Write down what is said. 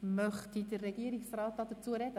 Möchte der Regierungsrat dazu sprechen?